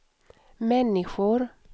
människor